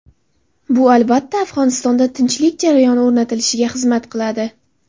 Bu, albatta, Afg‘onistonda tinchlik jarayoni o‘rnatilishiga xizmat qiladi.